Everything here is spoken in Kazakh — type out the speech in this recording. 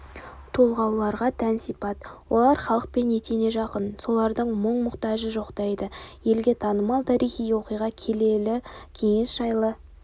толғауларға тән сипат олар халықпен етене жақын солардың мұң-мұқтажын жоқтайды елге танымал тарихи оқиға келелі кеңес жайлы